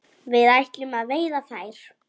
Við ætlum að veiða þær